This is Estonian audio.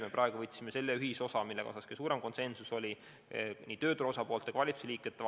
Me praegu võtsime käsile ühisosa, mille osas oli kõige suurem konsensus nii tööturu osapoolte kui ka valitsusliikmete vahel.